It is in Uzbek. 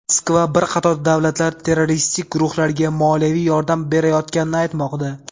Moskva bir qator davlatlar terroristik guruhlarga moliyaviy yordam berayotganini aytmoqda.